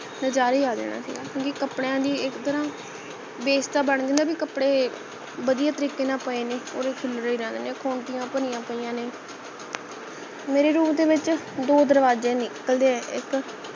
ਨਜਾਰਾ ਹੀ ਆ ਜਾਣਾ ਸੀਗਾ ਕਿਉਂਕਿ ਕਪੜਿਆਂ ਦੀ ਇਕ ਤਾਂ ਨਾ base ਜਾ ਬਣਜੇ ਨਾ ਬੀ ਕਪੜੇ ਵਧੀਆ ਤਰੀਕੇ ਨਾਲ ਪਏ ਨੇ ਉਹ ਤਾਂ ਖਿਲਰੇ ਰਹਿੰਦੇ ਨੇ ਖੂੰਟਿਆਂ ਭਰੀਆਂ ਪਯੀਆਂ ਨੇ ਮੇਰੇ room ਦੇ ਵਿੱਚ ਦੋ ਦਰਵਾਜੇ ਨਿਕਲਦੇ ਹੈ ਇਕ